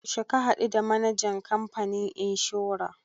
Yaushe ka haɗu the manajan kamfanin inshora?